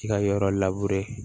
I ka yɔrɔ